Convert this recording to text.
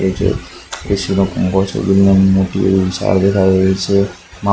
AC નો કુંભો છે જેમાં મોટી એવી સાળ દેખાય રહી છે--